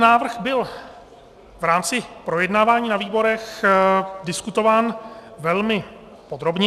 Návrh byl v rámci projednávání na výborech diskutován velmi podrobně.